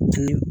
Ji